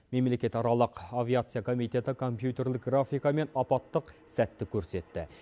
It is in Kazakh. мемлекетаралық авиация комитеті компьютерлік графикамен апаттық сәтті көрсетті